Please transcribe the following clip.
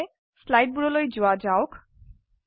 প্ৰথমে স্লাইডবোৰলৈ যোৱা যাওক